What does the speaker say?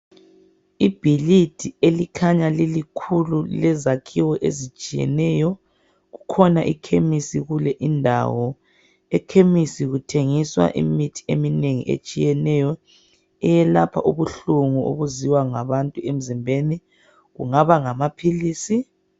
Ibhilidi elikhanya lilikhulu lilezakhiwo ezitshiyeneyo. Kukhona ikhemisi kule indawo. Ekhemisi kuthengiswa imithi eminengi etsiyeneyo eyelapha ubuhlungu obuzwiwa ngabantu emzimbeni. Kungaba ngamaphilisi.